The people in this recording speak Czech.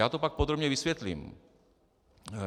Já to pak podrobně vysvětlím.